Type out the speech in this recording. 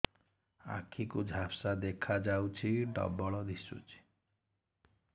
ଆଖି କୁ ଝାପ୍ସା ଦେଖାଯାଉଛି ଡବଳ ଦିଶୁଚି